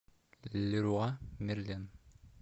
леруа мерлен